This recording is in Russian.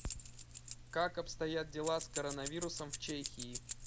как обстоят дела с коронавирусом в чехии